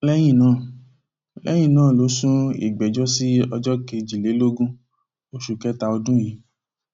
lẹyìn náà lẹyìn náà ló sún ìgbẹjọ sí ọjọ kejìlélógún oṣù kẹta ọdún yìí